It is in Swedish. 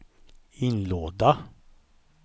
inlåda